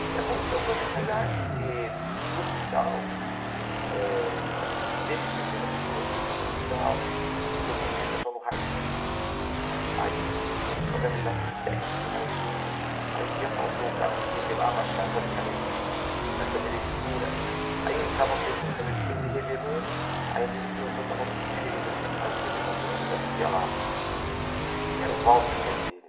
E aconteceu coisas legais, porque do hospital, eh desse setor eu fui para outro setor no hospital, porque eu conheci um pessoal no raio xis, aí comecei a fazer amizade com o técnico de raio xis, aí um dia faltou o cara que revelava as chapas de raio xis na câmera escura, aí eu entrava com ele na câmera escura, ele revelando, aí às vezes o plantão estava muito cheio, eu já tinha saído do elevador, eu ia subir lá, e ele era o Walter o nome dele,